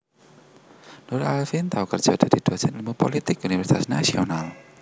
Nurul Arifin tau kerja dadi Dhosen Ilmu Pulitik Universitas Nasional